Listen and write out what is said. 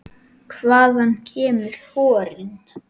Hvaðan kemur horinn?